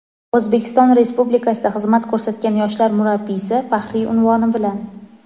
"O‘zbekiston Respublikasida xizmat ko‘rsatgan yoshlar murabbiysi" faxriy unvoni bilan.